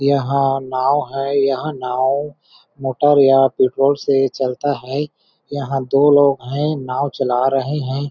यहां नाव है यह नाव मोटर या पेट्रोल से चलता है यहां दो लोग हैं नाव चला रहे हैं।